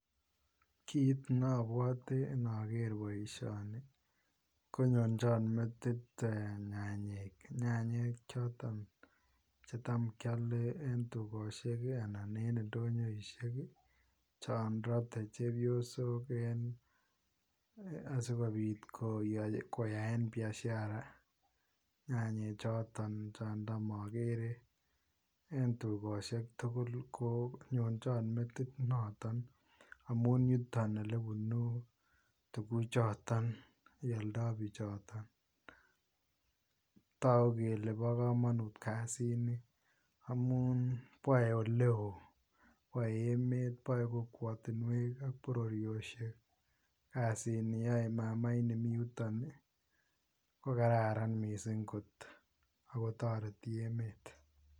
Kit nabwate inager boisioni ko nyonjoon metit, nyanyek nyanyek chotoon chetam kyale ii en dukosiek anan ko en ndonyoisiek chaam koaldai chepyosook asikobiit koyaen biashara nyanyek chotoon chaan taam agere en dukosiek tuguul ko nyonjoon metit notoon amuun yutoon ole bunu, tuguuk chotoon chealdai bichotoon taguu kele bo kamanut kasiit ni amuun yae ole wooh en emet boe kokwatiinweek ak bororiosheek kassit ni yae mama ini Mii yutoon Yuu ko kararan missing koot ako taretii emeet.